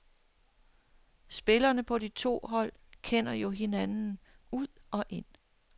Spillerne på de to hold kender jo hinanden ud og ind.